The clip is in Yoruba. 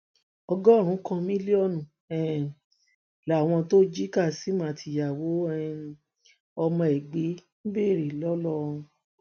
ọgọrùnún kan mílíọnù um làwọn tó jí kazeem àti ìyàwó um ọmọ ẹ gbé ń béèrè ńlọrọrin